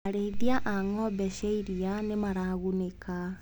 Arĩithia a ngombe cia iria nĩmaragunĩka.